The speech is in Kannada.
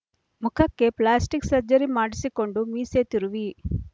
ಮುಖಕ್ಕೆ ಪ್ಲಾಸ್ಟಿಕ್ ಸರ್ಜರಿ ಮಾಡಿಸಿಕೊಂಡು ಮೀಸೆ ತಿರುವಿ